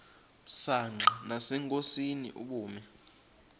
msanqa nasenkosini ubume